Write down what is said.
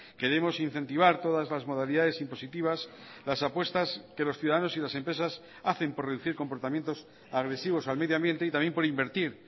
queremos incentivar todas las modalidades impositivas las apuestas que los ciudadanos y las empresas hacen por reducir comportamientos agresivos al medio ambiente y también por invertir